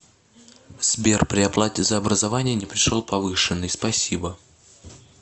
сбер при оплате за образование не пришел повышенный спасибо